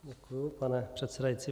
Děkuji, pane předsedající.